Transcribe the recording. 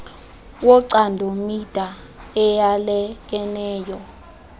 wocando mida eyalekeneyo